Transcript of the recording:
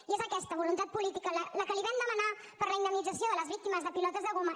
i és aquesta voluntat política la que li vam demanar per a la indemnització de les víctimes de pilotes de goma